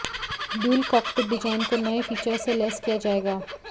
dual cockpit design को नए features से लैस किया जाएगा